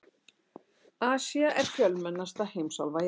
Asía er fjölmennasta heimsálfa jarðar.